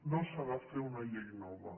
no s’ha de fer una llei nova